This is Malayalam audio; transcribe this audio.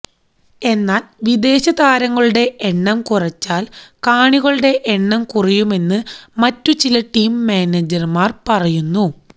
എന്നാൽ വിദേശതാരങ്ങളുടെ എണ്ണം കുറച്ചാൽ കാണികളുടെ എണ്ണം കുറയുമെന്ന് മറ്റു ചില ടീം മാനേജർമാർ പറയുന്നു